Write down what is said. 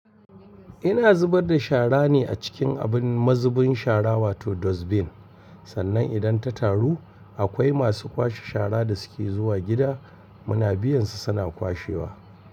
Ina zubar da shara ne a cikin abun mazubin shara wato dustbin. Sannan idan ta taru, akwai masu kwashe shara da suke zuwa gida muna biyan su suna kwashewa.